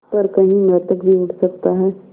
पर कहीं मृतक भी उठ सकता है